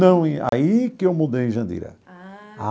Não, aí que eu mudei em Jandira. Ah.